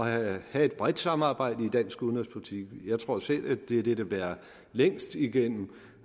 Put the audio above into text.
at have et bredt samarbejde i dansk udenrigspolitik jeg tror selv at det er det der bærer længst igennem